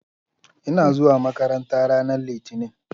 Ina zuwa makaranta ranar Litinin